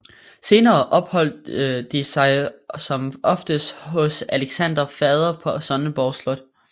Senere opholdt de sig som oftest hos Alexanders fader på Sønderborg Slot